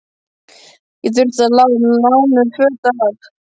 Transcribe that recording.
Ég þurfti að fá lánuð föt af